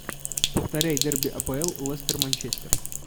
повторяй дерби апл лестер манчестер